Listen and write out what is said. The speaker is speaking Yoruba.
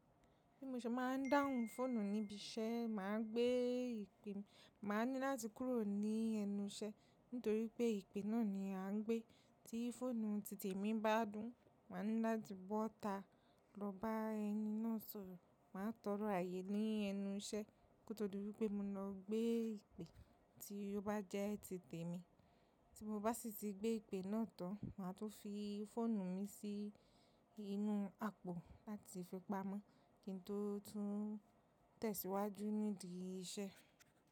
Bí mo ṣe máa ń dáhùn fóònù níbi iṣẹ́, mà á gbé ìpè, mà á ní láti kúrò ní ẹnu iṣẹ́ nítorí pé ìpè náà ni à ń gbé. Tí fóònù títè mi bá dún, mà á ní láti bọ́ta lọ bá ẹni náà sọ̀rọ̀. Mà á tọrọ ààyè ní ẹnu iṣẹ́ kó tó di wipé mo lọ gbé ìpè tí ó bá jẹ́ títè mi. Tí mo bá sì ti gbé ìpè náà tán, mà á tún fi fóònù mi sí inú àpò láti fi pamọ́ kí n tó tun tẹ̀síwájú nídi iṣẹ́.